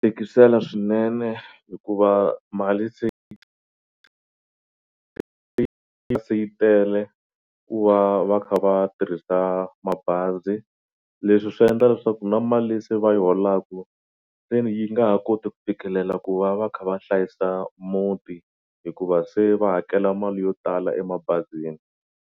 Tikisela swinene hikuva mali se se yi tele ku va va kha va tirhisa mabazi leswi swi endla leswaku na mali se va yi holaku se ni yi nga ha koti ku fikelela ku va va kha va hlayisa muti hikuva se va hakela mali yo tala emabazini.